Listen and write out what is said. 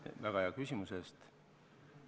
Aitäh väga hea küsimuse eest!